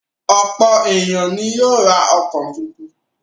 Ọ̀pọ̀ ènìyàn ni yóò ra ọkọ̀ tuntun.